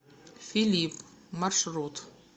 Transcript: филипп маршрут